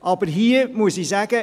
Aber hier muss ich sagen: